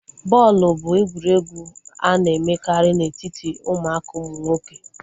bọọlụ bụ egwuregwu a na-emekarị na etiti ụmụaka ụmụ nwoke